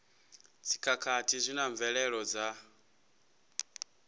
dzikhakhathi zwi na mvelelo dza